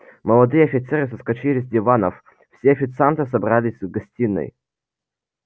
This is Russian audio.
молодые офицеры соскочили с диванов все официанты собрались в гостиной